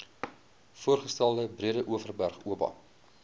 voorgestelde breedeoverberg oba